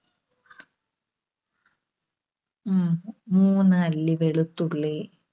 മൂ~മൂന്ന് അല്ലി വെളുത്തുള്ളി.